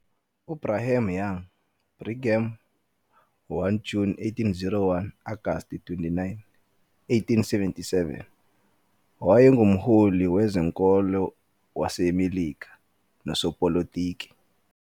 UBrigham Young, Brigham, 1 Juni 1801 - Agasti 29, 1877, wayengumholi wezenkolo waseMelika nosopolitiki.